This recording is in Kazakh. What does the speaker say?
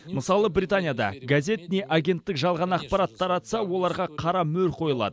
мысалы британияда газет не агенттік жалған ақпарат таратса оларға қара мөр қойылады